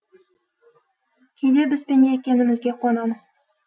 кейде біз пенде екенімізге қуанамыз